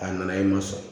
A nana i ma sɔn